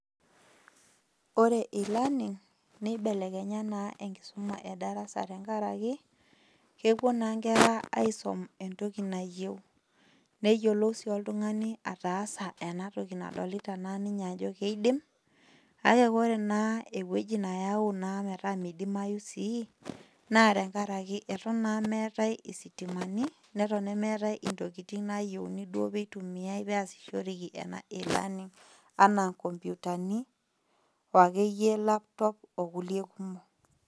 Ore[cs[ e learning nibelekenya na enkisuma edarasa tenkaraki kupuo na nkera aisum entoki nayieu netumoki na oltungani ataasa enatoki nadolta tene nedol ninye ajo kidim kake ore ewoi na nayau netaa midimayu sii na tenkaraki meetae isiamtimani na tenkaraki meetae ntokitin nayiauni duo peasishoreki e learning [cs[anaa nkomputani ooakeyie[cs[ laptop kulie kumok